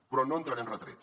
però no entraré en retrets